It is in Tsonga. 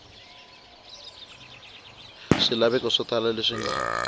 swilaveko swo tala leswi nga